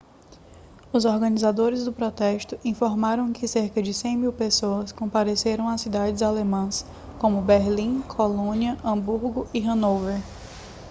os organizadores do protesto informaram que cerca de 100.000 pessoas compareceram a cidades alemãs como berlim colônia hamburgo e hanover